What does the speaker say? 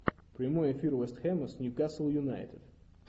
прямой эфир вест хэма с ньюкасл юнайтед